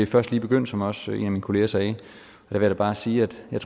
først lige begyndt som også en af min kollegaer sagde jeg vil da bare sige at jeg